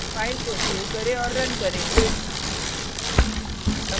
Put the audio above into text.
file को save करें और रन करें